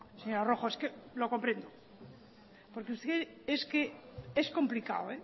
señora rojo porque es complicado